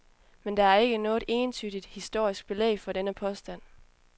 Men der er ikke noget entydigt historisk belæg for denne påstand.